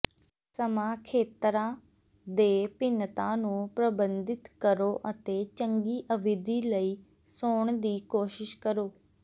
ਸਮਾਂ ਖੇਤਰਾਂ ਦੇ ਭਿੰਨਤਾ ਨੂੰ ਪ੍ਰਬੰਧਿਤ ਕਰੋ ਅਤੇ ਚੰਗੀ ਅਵਧੀ ਲਈ ਸੌਣ ਦੀ ਕੋਸ਼ਿਸ਼ ਕਰੋ